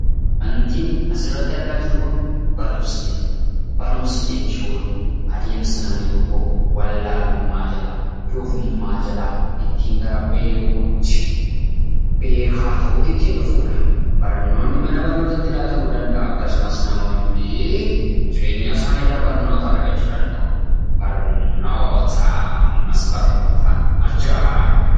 Waantin asirratti argaa jiru Kun, barumsa jedhama. Barumsa jechuun adeemsa namni tokko wallaalummaa irraa , doofummaa jalaa gara beekuutti beekuutti ittiin dhufudha. Barnoonni mana barnootaatti laatamuu danda'a akkasumas jireenya isaanii irraa barnoota argachuu danda'u. Barnoota ammas barnoota, ajaaiba!